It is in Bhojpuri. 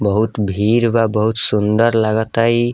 बहुत भीड़ बा बहुत सुन्दर लागता ई।